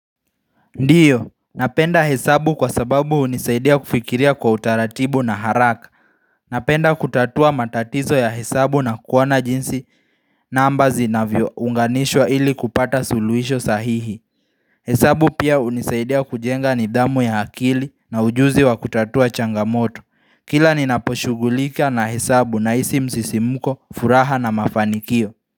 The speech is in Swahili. Ndiyo, napenda hesabu kwa sababu hunisaidia kufikiria kwa utaratibu na haraka Napenda kutatua matatizo ya hesabu na kuona jinsi naomba zinavyounganishwa ili kupata suluhisho sahihi hesabu pia hunisaidia kujenga nidhamu ya hakili na ujuzi wa kutatua changamoto. Kila ninaposhughulika na hesabu nahisi msisimuko, furaha na mafanikio.